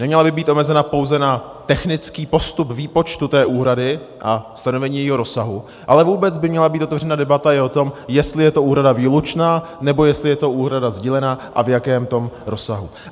Neměla by být omezena pouze na technický postup výpočtu té úhrady a stanovení jejího rozsahu, ale vůbec by měla být otevřena debata i o tom, jestli je to úhrada výlučná, nebo jestli je to úhrada sdílená, a v jakém tom rozsahu.